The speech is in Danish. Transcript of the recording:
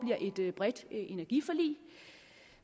bliver et bredt energiforlig